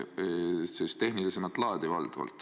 Valdavalt on need tehnilist laadi.